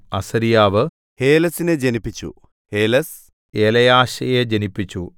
അസര്യാവ് ഹേലെസിനെ ജനിപ്പിച്ചു ഹേലെസ് എലെയാശയെ ജനിപ്പിച്ചു